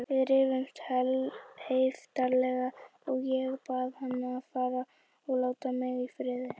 Við rifumst heiftarlega og ég bað hann að fara og láta mig í friði.